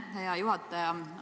Aitäh, hea juhataja!